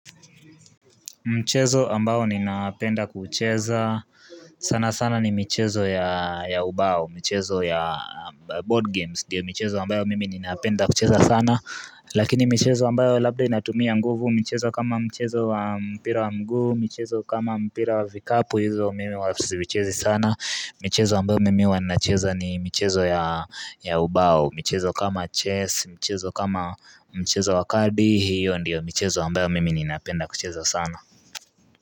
Mchezo ambao ninapenda kucheza sanasana ni michezo ya ubao, mchezo ya board games ndio michezo ambayo mimi ninapenda kucheza sana Lakini michezo ambayo labda inatumia nguvu michezo kama mchezo wa mpira wa mguu, mchezo kama mpira wa vikapu hizo mimi huwa siichezi sana. Michezo ambayo mimi huwa nacheza ni mchezo ya ya ubao, michezo kama chess, michezo kama mchezo wa kalbi, hiyo ndiyo mchezo ambayo mimi ninaapenda kucheza sana.